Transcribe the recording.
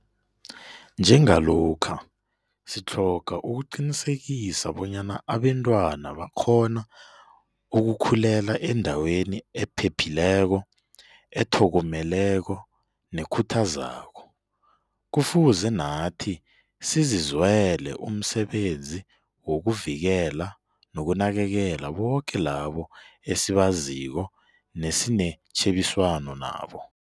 Nje ngalokha sitlhoga ukuqinisekisa bonyana abentwana bakghona ukukhulela endaweni ephephileko, ethokomeleko nekhuthazako, kufuze nathi sizizwele umsebenzi wokuvikela nokunakekela boke labo esibaziko nesinetjhebiswano nabo.